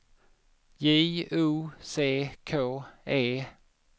J O C K E